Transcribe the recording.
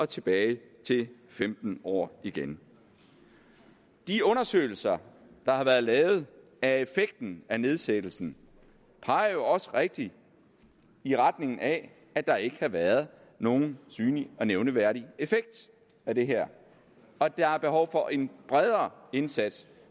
tilbage til femten år igen de undersøgelser der har været lavet af effekten af nedsættelsen peger jo også rigtigt i retning af at der ikke har været nogen synlig og nævneværdig effekt af det her og at der er behov for en bredere indsats